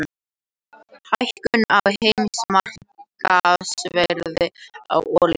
Hækkun á heimsmarkaðsverði á olíu